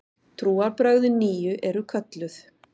Trúarbrögðin nýju eru kölluð